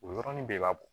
O y yɔrɔnin bɛɛ b'a bɔ